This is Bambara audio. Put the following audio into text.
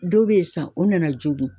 Dɔw be yen san o nana joogin.